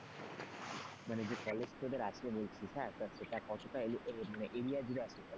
মানে যে কলেজ তোদের আছে বলছিস সেটা কতটা মানে area জুড়ে আছে?